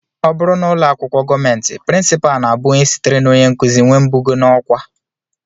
Ọ bụrụ n'ụlọakwụkwọ gọọmenti, prinsipal na-abụ onye sitere na onyenkụzi nwee mbugo n'ọkwá